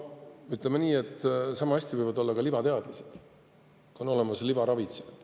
Ütleme nii, et sama hästi võivad olla olemas ka libateadlased, kui on olemas libaravitsejad.